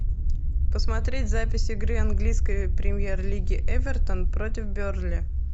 посмотреть запись игры английской премьер лиги эвертон против бернли